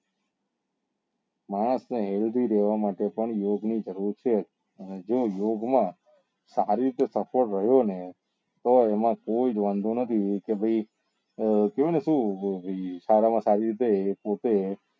માણસ ને healthy રેવા માટે પણ યોગ ની જરૂર છે અને જો યોગ માં સારી રીતે રહ્યો ને તો એમાં કોઈ જ વાંધો નથી કે ભાઈ કેવાય ને સુ સારા માં સારી રીતે એ પોત્તે